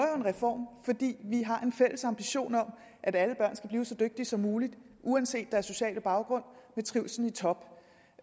reform fordi vi har en fælles ambition om at alle børn skal blive så dygtige som muligt uanset deres sociale baggrund og med trivslen i top